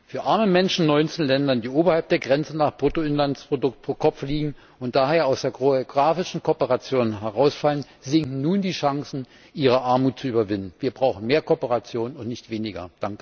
Für arme Menschen in 19 Ländern, die oberhalb der Grenze nach Bruttoinlandsprodukt pro Kopf liegen und daher aus der geografischen Kooperation herausfallen, sinken nun die Chancen, ihre Armut zu überwinden. Wir brauchen mehr Kooperation und nicht weniger.